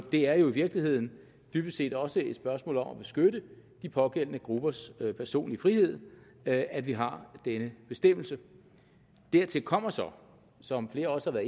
det er jo i virkeligheden dybest set også et spørgsmål om at beskytte de pågældende gruppers personlige frihed at at vi har den bestemmelse dertil kommer så som flere også har